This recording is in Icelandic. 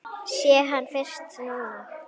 Sé hann fyrst núna.